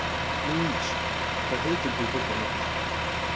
Louise, hvað heitir þú fullu nafni?